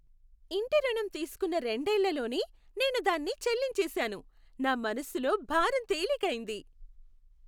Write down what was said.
ఇంటి రుణం తీసుకున్న రెండేళ్లలోనే నేను దాన్ని చెల్లించేశాను, నా మనసులో భారం తేలికైంది.